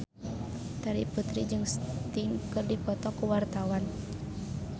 Terry Putri jeung Sting keur dipoto ku wartawan